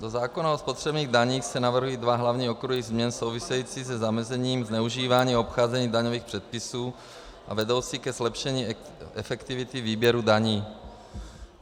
Do zákona o spotřebních daních se navrhují dva hlavní okruhy změn související se zamezením zneužívání a obcházení daňových předpisů a vedoucí ke zlepšení efektivity výběru daní.